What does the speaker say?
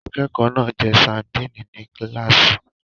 Akẹ́kọ̀ọ́ náà ń jẹ ṣándì ní kíláàsì.